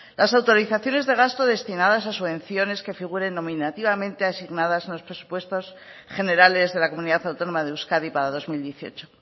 las autorizaciones de gasto destinadas a subvenciones que figuren nominativamente asignadas en los presupuestos generales de la comunidad autónoma de euskadi para dos mil dieciocho